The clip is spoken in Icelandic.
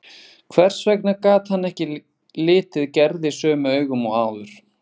Hvers vegna gat hann ekki litið Gerði sömu augum og áður?